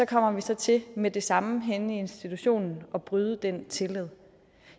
kommer vi så til med det samme henne i institutionen at bryde den tillid